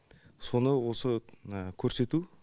соны осы көрсету